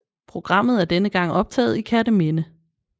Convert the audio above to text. Programmet er denne gang optaget i Kerteminde